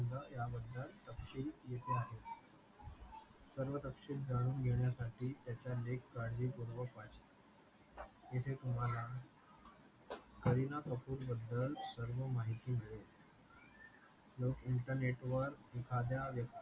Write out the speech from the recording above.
सर्व थत्ते जाणून घेण्यासाठी त्याचे लेख काळजी पूर्वक वाचा इथे तुम्हाला करीना कपूर बदल सर्व माहिती मिडेल लोक इंटरनेट वर एकाद्या व्यक्ति